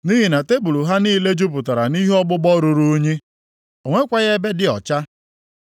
Nʼihi na tebul ha niile jupụtara nʼihe ọgbụgbọ ruru unyi. O nwekwaghị ebe dị ọcha.